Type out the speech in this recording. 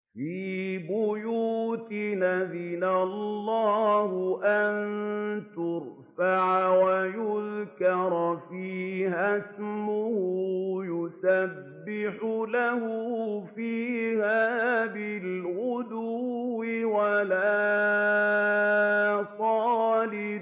فِي بُيُوتٍ أَذِنَ اللَّهُ أَن تُرْفَعَ وَيُذْكَرَ فِيهَا اسْمُهُ يُسَبِّحُ لَهُ فِيهَا بِالْغُدُوِّ وَالْآصَالِ